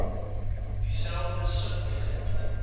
dieselfde sub eenheid